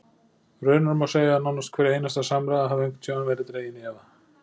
Raunar má segja að nánast hver einasta samræða hafi einhvern tímann verið dregin í efa.